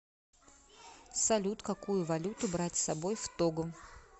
салют какую валюту брать с собой в того